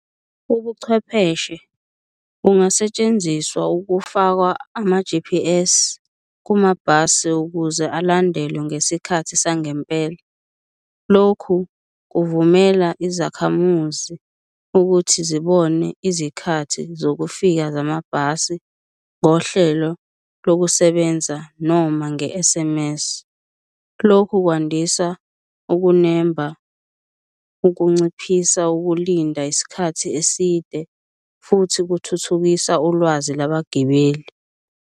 Ubuchwepheshe bungasetshenziswa ukufakwa ama-G_P_S kumabhasi ukuze alandelwe ngesikhathi sangempela, lokhu kuvumela izakhamuzi ukuthi zibone izikhathi zokufika zamabhasi ngohlelo lokusebenza noma nge-S_M_S. Lokhu kwandisa ukunemba, ukunciphisa ukulinda isikhathi eside futhi kuthuthukisa ulwazi labagibeli.